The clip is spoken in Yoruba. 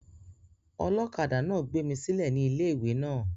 olokada náà gbé mí sílè ní ilé-ìwé náà